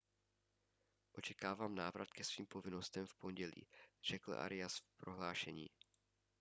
očekávám návrat ke svým povinnostem v pondělí řekl arias v prohlášení